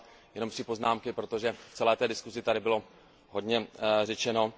Já mám jenom tři poznámky, protože v celé té diskuzi tady bylo hodně řečeno.